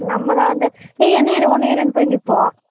நம்ம தான் வந்து ஏ என்னைய எடு உன்னைய எடுனு போய் நிப்போம்